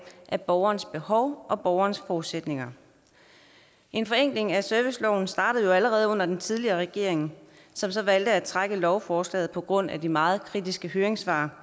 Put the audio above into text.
af borgerens behov og borgerens forudsætninger en forenkling af serviceloven startede jo allerede under den tidligere regering som så valgte at trække lovforslaget på grund af de meget kritiske høringssvar